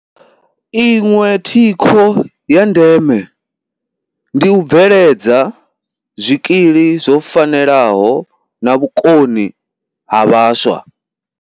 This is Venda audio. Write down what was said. Iṅwe thikho ya ndeme ndi u bve ledza zwikili zwo fanelaho na vhukoni ha vhaswa.